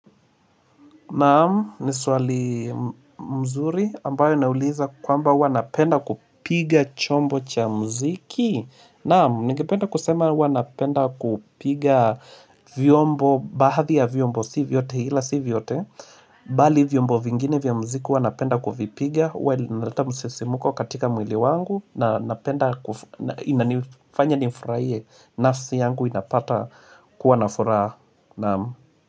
Naam, ni swali mzuri ambayo inauliza kwamba huwa napenda kupiga chombo cha mziki. Naam, ningependa kusema huwa napenda kupiga viombo, baadhi ya viombo si vyote ila si vyote. Bali viombo vingine vya mziki huwa napenda kuvipiga. Huwa inaleta msisimuko katika mwili wangu na na inafanya nifurahie nafsi yangu inapata kuwa na furaha. Naam.